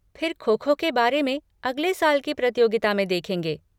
फिर खो खो के बारे में अगले साल की प्रतियोगिता में देखेंगे।